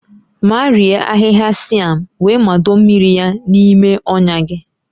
Marie ahịhịa sịam wee mado mmiri ya n'ime ọnya gị